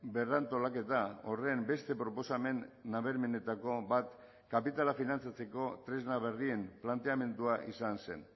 berrantolaketa horren beste proposamen nabarmenetako bat kapitala finantzatzeko tresna berrien planteamendua izan zen